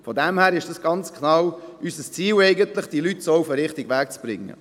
» Dies ist ganz genau unser Ziel, die Leute so auf den richtigen Weg zu bringen.